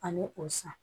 Ani o san